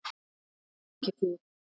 En ekki þið.